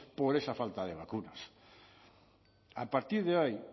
por esa falta de vacunas a partir de ahí